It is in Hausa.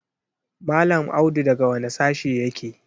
Mallam Audu daga wane sashe yake?